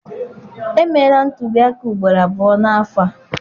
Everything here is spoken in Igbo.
Emeela ntụliaka ugboro abụọ n'afọ a.